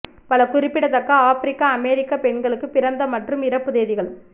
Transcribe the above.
பல குறிப்பிடத்தக்க ஆபிரிக்க அமெரிக்க பெண்களுக்கு பிறந்த மற்றும் இறப்பு தேதிகள்